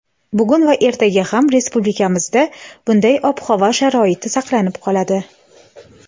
Bugun va ertaga ham respublikamizda bunday ob-havo sharoiti saqlanib qoladi.